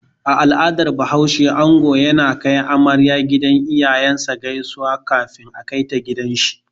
A al'adan bahaushe, ango yana kai amaryar gidan iyayen sa gaisuwa kafin a kaita gidan shi